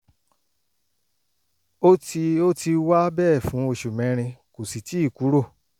ó ti ó ti wà bẹ́ẹ̀ fún oṣù mẹ́rin kò sì tíì kúrò